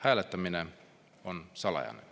Hääletamine on salajane.